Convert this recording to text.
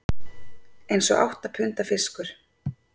Eins og átta punda fiskur